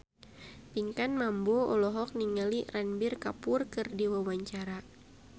Pinkan Mambo olohok ningali Ranbir Kapoor keur diwawancara